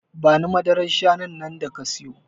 Bani madarar shanun nan da ka siyo